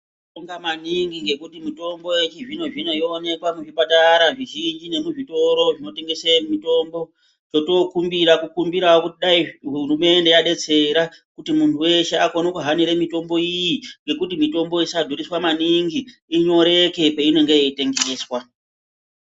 Tinobonga maningi ngekuti mutombo yechizvino zvino yoonekwa muzvipatara zvizhinji nemuzvitoro zvinotengese mitombo chotookumbira totokumbirawo kuti dai hurumende yadetsera kuti muntu weshe akone kuhanire mitombo iyii nekuti mitombo isadhuriswa maningi inyoreke peinonge yeyitengeswa.